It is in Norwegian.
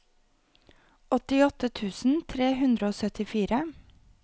åttiåtte tusen tre hundre og syttifire